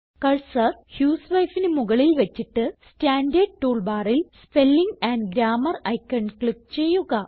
cursor husewifeന് മുകളിൽ വച്ചിട്ട് സ്റ്റാൻഡർഡ് ടൂൾ ബാറിൽ spelling and grammar icon click ചെയ്യുക